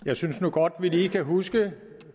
jeg synes nu godt vi lige kan huske